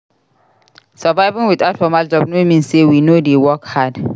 Surviving without formal job no mean sey we no dey work hard.